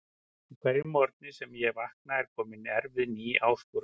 Á hverjum morgni sem ég vakna er komin erfið ný áskorun.